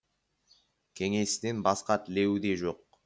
кеңесінен басқа тілеуі де жоқ